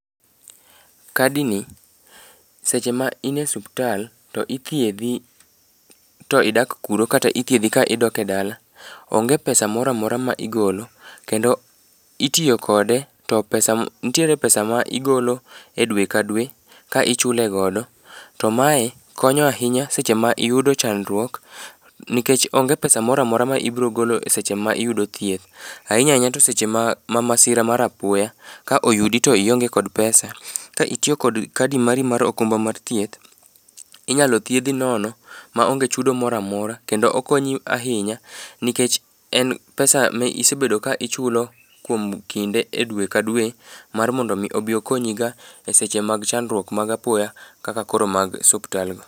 Kadini seche ma ine suptal, to ithiedhi to idak kuro kata ithiedhi ka idok e dala, onge pesa mora mora ma igolo, kendo itiyo kode to ntiere pesa ma igolo e dwe ka dwe ka ichule godo, to mae konyo ahinya seche ma iyudo chandruok nikech onge pesa mora mora ma ibiro golo seche ma iyudo thieth, ahinya ahinya to seche ma masira mar apoya ka oyudi to ionge kod pesa . Ka itiyo kod kadi mari mar okumba mar thieth, inyalo thiedhi nono ma onge chudo mora mora, kendo okonyi ahinya nikech en pesa ma isebedo ka ichulo kuom kinde,e dwe ka dwe mar mondo omi obi okonyi ga e seche mag chandruok mag apoya kaka koro mag suptalgo.